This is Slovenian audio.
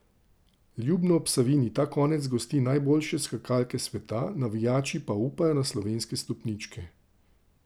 Ljubno ob Savinji ta konec gosti najboljše skakalke sveta, navijači pa upajo na slovenske stopničke.